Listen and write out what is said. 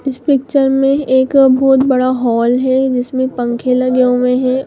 इस पिक्चर में एक बहुत बड़ा हॉल है जिसमे पंखे लगे हुए हैं।